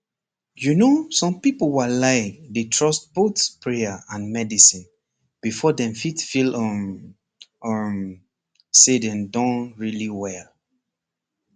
you know some people walai dey trust both prayer and medicine before dem fit feel um um say dem don really well